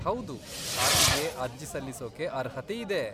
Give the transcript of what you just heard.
ಹೌದು, ಆಕೆಗೆ ಅರ್ಜಿ ಸಲ್ಲಿಸೋಕೆ ಅರ್ಹತೆ ಇದೆ.